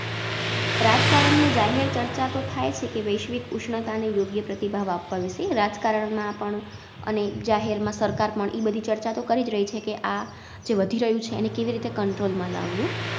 રાજકારણ ને જાહેર ચર્ચા તો થાય છે કે, વૈશ્વિક ઉષ્ણતા ને યોગ્ય પ્રતિભાવ આપવા વિષે રાજકારણમાં પણ અને જાહેરમાં સરકાર પણ ઈબધી ચર્ચા તો કરીજ રઈ છે કે આ જે વધી રહ્યું છે એને કેવીરીતે Control માં લાવું